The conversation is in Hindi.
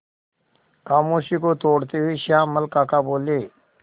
खामोशी को तोड़ते हुए श्यामल काका बोले